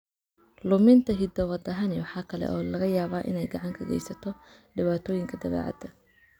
Luminta hidda-wadahani waxa kale oo laga yaabaa inay gacan ka geysato dhibaatooyinka dabeecadda.